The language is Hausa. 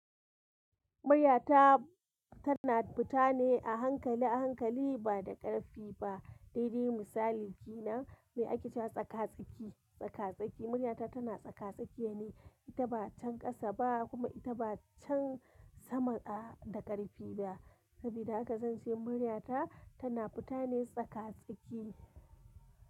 Muryata tana fita ne a hankali a hankali ba da ƙarfi ba. Ɗaya daga misalai na me ake ce tsaka-tsaki, tsaka-tsaki muryata tana tsaka-tsaki ne. Ita ba can ƙasa ba kuma ita ba can sama da ƙarfi ba. Sabida haka zan ce muryata tana fita ne tsaka-tsaki.